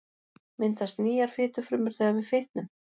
Myndast nýjar fitufrumur þegar við fitnum?